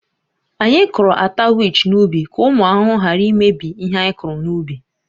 Anyị kụrụ ata wich n’ubi ka ụmụ ahụhụ ghara imebi ihe a kụrụ n’ubi